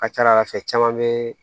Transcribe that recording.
A ka ca ala fɛ caman be